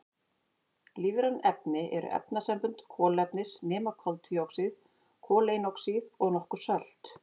Lífræn efni eru efnasambönd kolefnis nema koltvíoxíð, koleinoxíð og nokkur sölt.